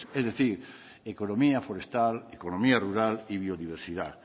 es decir economía forestal economía rural y biodiversidad